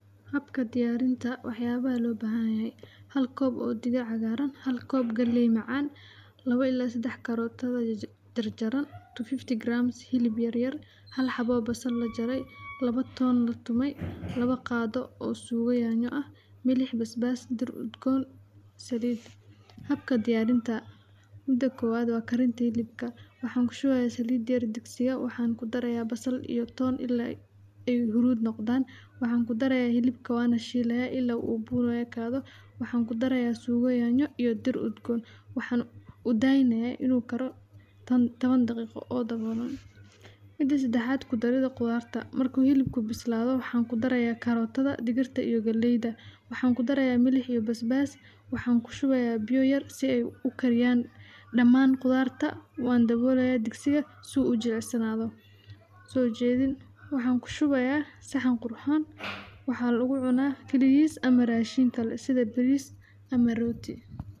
Habka diyaarinta wax yaabaha loo baahan yahay hal koob oo digir cagaaran hal koob geley macaan labo ilaa sadax karooto jarjaran 250grams hilib yaryar hal xabo oo basal lajarey labo toon latumey labo oo suugo yanyo ah milix basbas dhir udgoon saliid, habka diyaarinta mida koowad waa karinta hilibka waxaan kushubeya saliid yar digsiga waxaan kudareya basal iyo toon ilaa ay huruud noqdaan waxaan kudareya hilibka waana shiileya ilaa uu buur uekaado waxaan kudareya suugo yanyo iyo dir udgoon waxaan udaayneyaa inuu karo toban daqiiqo oo daboolan mida sadaxaad kudarida qudaarta markuu hilibka bislaado waxaan kudareya karotada digirta iyo galeyda waxaan kudareya milix iyo bisbaas waxaan kushubeya biyo yar si ay ukariyaan dhamaan qudhaarta waan dabooleya digsiga si uu ujilicsanaado soojedin waxaan kushubeya saxan qurxoon waxaa lagu cunaa kaligiis ama raashin kale sida bariis ama rooti.